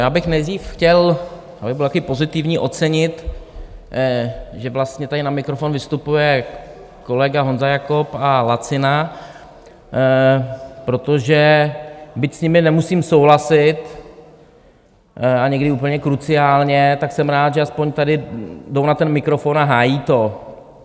Já bych nejdřív chtěl, abych byl také pozitivní, ocenit, že vlastně tady na mikrofon vystupuje kolega Honza Jakob a Lacina, protože byť s nimi nemusím souhlasit, a někdy úplně kruciálně, tak jsem rád, že aspoň tady jdou na ten mikrofon a hájí to.